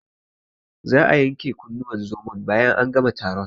Za'a yanke kunnuwan zomon bayan an gama taron.